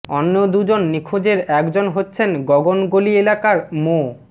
অন্য দুজন নিখোঁজের একজন হচ্ছেন গগন গলি এলাকার মো